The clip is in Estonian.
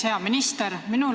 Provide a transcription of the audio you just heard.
Hea minister!